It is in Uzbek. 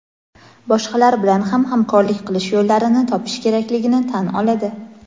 boshqalar bilan ham hamkorlik qilish yo‘llarini topish kerakligini tan oladi.